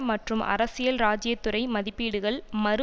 மற்றும் அரசியல்ராஜ்ஜியத்துறை மதிப்பீடுகள் மறு